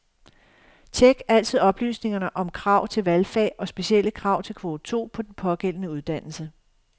Check altid oplysningerne om krav til valgfag og specielle krav til kvote to på den pågældende uddannelse.